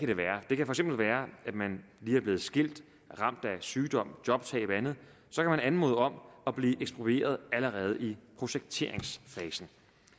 lige er blevet skilt ramt af sygdom jobtab eller andet anmode om at blive eksproprieret allerede i projekteringsfasen